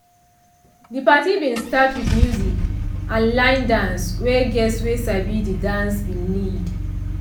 de party bin start with music and line dance wey guests wey sabi de dance bin lead.